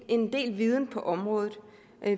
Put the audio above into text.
en del viden på området